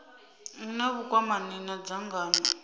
hu na vhukwamani na dzangano